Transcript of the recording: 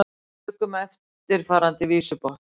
Tökum eftirfarandi vísubotn